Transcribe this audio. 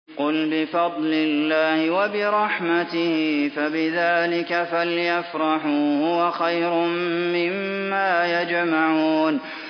قُلْ بِفَضْلِ اللَّهِ وَبِرَحْمَتِهِ فَبِذَٰلِكَ فَلْيَفْرَحُوا هُوَ خَيْرٌ مِّمَّا يَجْمَعُونَ